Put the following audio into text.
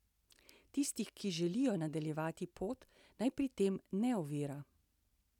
Tistih, ki želijo nadaljevati pot, naj pri tem ne ovira.